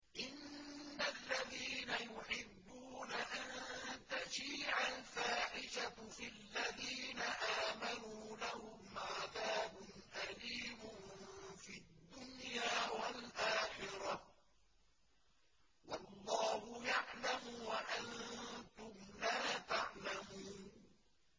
إِنَّ الَّذِينَ يُحِبُّونَ أَن تَشِيعَ الْفَاحِشَةُ فِي الَّذِينَ آمَنُوا لَهُمْ عَذَابٌ أَلِيمٌ فِي الدُّنْيَا وَالْآخِرَةِ ۚ وَاللَّهُ يَعْلَمُ وَأَنتُمْ لَا تَعْلَمُونَ